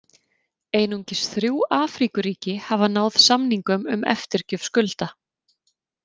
Einungis þrjú Afríkuríki hafa náð samningum um eftirgjöf skulda.